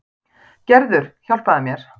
Gerður, hjálpaðu mér.